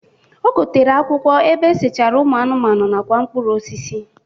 O gotere akwụkwọ ebe esechara ụmụ anụmanụ nakwa mkpụrụ osisi.